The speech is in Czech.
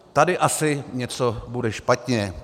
Tady asi něco bude špatně.